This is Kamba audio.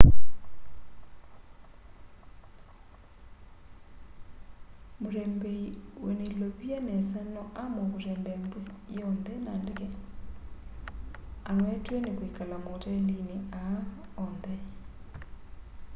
mutembei wina ilovia nesa no aamue kutembea nthi yonthe na ndeke anoetw'e ni kwikala maotelini aa on the